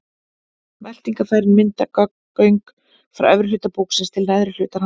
Meltingarfærin mynda göng frá efri hluta búksins til neðri hlutar hans.